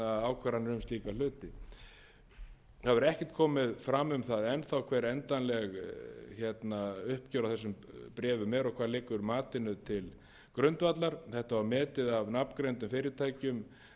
ákvarðanir um slíka hluti það hefur ekkert komið fram um það enn þá hver endanleg uppgjör á þessum bréfum eru og hvað liggur matinu til grundvallar þetta var metið af nafngreindum fyrirtækjum einu sinni eða